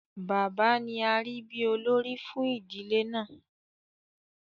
Bàbá ni arí bí olórí fún ìdílé náà.